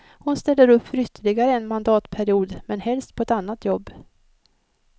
Hon ställer upp för ytterligare en mandatperiod men helst på ett annat jobb.